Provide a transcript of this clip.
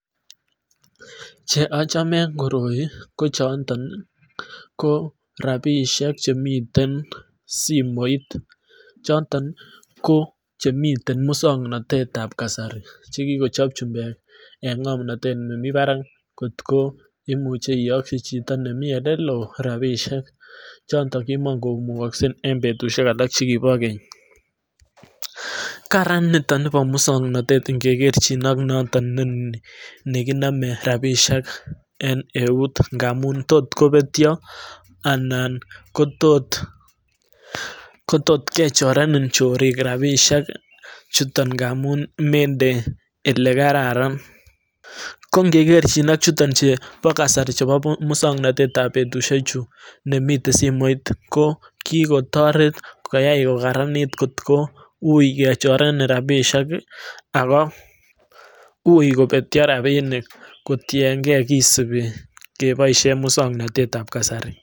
Cheamache koroi ko rabishek chemiten simoit cheton che chemiten miswoknotetab kasari chekikocho chumbek eng ngomnatet nemi barak ko imuche iyakyi chito nemi elelo rapishek choton chekimakomukakse eng betushek alak chekibo Keny kararan nitoni bo miswoknotet ingegerchin ak nekiname rapishek eng neut ngamun tot kobetyo anan kotot kechorenin chorik rapishek chuton ngamun mende elekararan ko ngegerchin ak choton chebo kasari choton chebo miswoknotetab betushek chu nemiten simoit ko kiko toreti koyai kokaranit kotkoui kechorenin rabishek ako ui kobetyo rapinik kotyenke kisubi keboisyen miswoknotetab kasari.